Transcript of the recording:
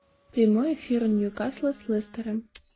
прямой эфир ньюкасла с лестером